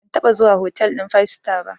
Ban taɓa zuwa hotel ɗin five star ba.